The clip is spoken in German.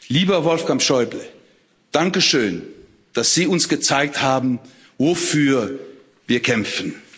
Lieber Wolfgang Schäuble, danke schön, dass Sie uns gezeigt haben, wofür wir kämpfen.